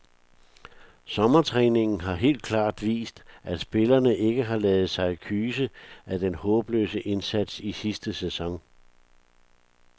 Sommertræningen har helt klart vist, at spillerne ikke har ladet sig kyse af den håbløse indsats i sidste sæson.